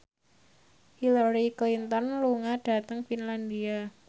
Hillary Clinton lunga dhateng Finlandia